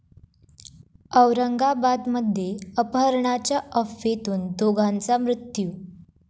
औरंगाबादमध्ये अपहरणाच्या अफवेतून दोघांचा मृत्यू